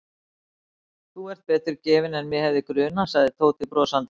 Þú ert betur gefinn en mig hefði grunað sagði Tóti brosandi.